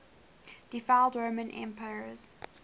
deified roman emperors